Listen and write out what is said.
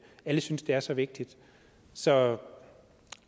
alle synes at det er så vigtigt så